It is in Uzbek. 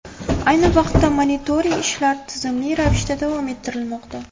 Ayni vaqtda monitoring ishlar tizimli ravishda davom ettirilmoqda.